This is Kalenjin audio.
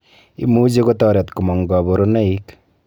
Imuchi kotoret komong' kabarunoik